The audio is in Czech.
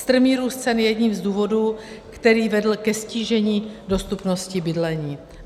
Strmý růst cen je jedním z důvodů, který vedl ke ztížení dostupnosti bydlení.